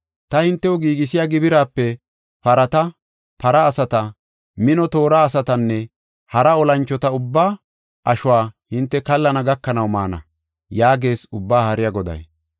Ta hintew giigisiya gibiraape parata, para asata, mino toora asatanne hara olanchota ubba ashuwa hinte kallana gakanaw maana” yaagees Ubbaa Haariya Goday.